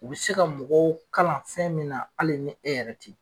U bɛ se ka mɔgɔw kalan fɛn min na hali ni e yɛrɛ te ye.